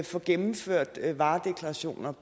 får gennemført varedeklarationer